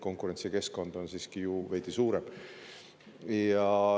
Konkurentsikeskkond on siiski ju veidi suurem.